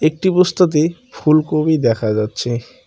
একটি বস্তাতে ফুলকবি দেখা যাচ্ছে।